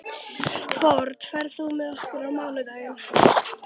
Fold, ferð þú með okkur á mánudaginn?